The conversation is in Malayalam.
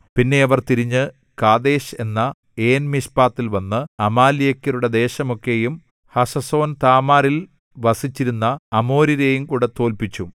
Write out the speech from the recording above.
പിന്നെ അവർ തിരിഞ്ഞു കാദേശ് എന്ന ഏൻമിശ്പാത്തിൽ വന്ന് അമാലേക്യരുടെ ദേശമൊക്കെയും ഹസസോൻതാമാരിൽ വസിച്ചിരുന്ന അമോര്യരെയും കൂടെ തോല്പിച്ചു